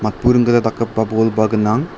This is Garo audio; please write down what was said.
buring gita dakgipa bolba gnang.